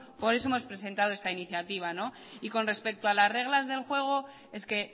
por eso hemos presentado esta iniciativa y con respecto a las reglas del juego es que